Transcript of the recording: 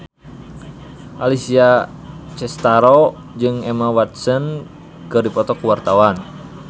Alessia Cestaro jeung Emma Watson keur dipoto ku wartawan